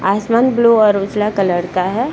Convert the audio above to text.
आसमान ब्लू और उजला कलर का है ।